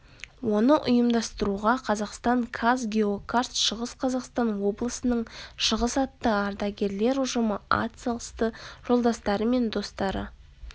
оны ұйымдастыруға қазақстан казгеокарт шығыс қазақстан облысының шығыс атты ардагерлер ұжымы ат салысты жолдастары мен достары